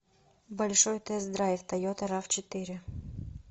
большой тест драйв тойота рав четыре